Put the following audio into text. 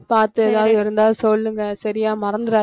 பார்த்து ஏதாவது இருந்தா சொல்லுங்க சரியா மறந்துடா~